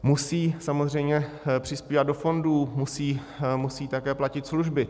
Musí samozřejmě přispívat do fondů, musí také platit služby.